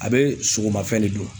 A be sogomafɛn de dun